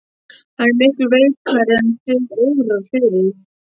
Hann er miklu veikari en þig órar fyrir.